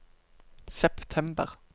september